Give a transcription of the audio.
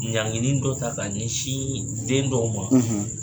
Ɲanginin dɔ ta ka ɲɛsin den dɔw ma,